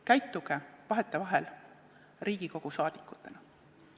Käituge vahetevahel Riigikogu liikmetena.